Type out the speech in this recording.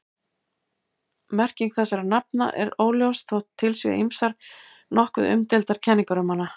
Merking þessara nafna er óljós þótt til séu ýmsar nokkuð umdeildar kenningar um hana.